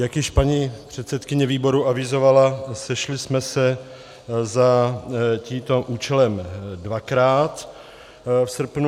Jak již paní předsedkyně výboru avizovala, sešli jsme se za tímto účelem dvakrát v srpnu.